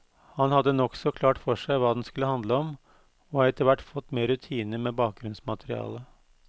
Han hadde nokså klart for seg hva den skulle handle om, og har etterhvert fått mer rutine med bakgrunnsmaterialet.